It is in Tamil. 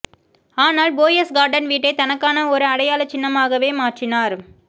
ஆனால் போயஸ்கார்டன் வீட்டை தனக்கான ஒரு அடையாள சின்னமாகவே மாற்றினார்